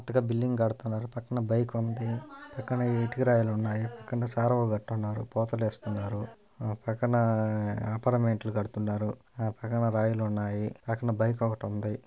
కొత్తగా బిల్డింగ్ కడుతున్నారు. పక్కన బైక్ వుంది పక్కన ఇటుక రాయిలు వున్నాయి. పక్కన సార్వగట్టుతున్నారు పోతులేస్తున్నారు పక్కన అపార్ట్మెంట్ ట్లు కడుతున్నారు. ఆ పక్కన రాయిలు ఉన్నాయి పక్కన బైక్ ఒకటి ఉంది.